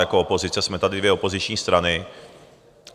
Jako opozice jsme tady dvě opoziční strany.